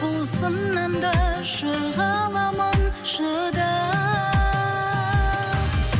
бұл сыннан да шыға аламын шыдап